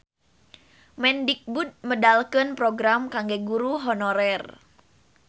Mendikbud medalkeun program kangge guru honorer